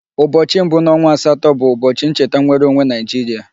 ụbọchị mbu n'onwa asato bụ ụbọchị ncheta nwereonwe Nigeria.